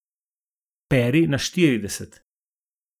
Peri na štirideset.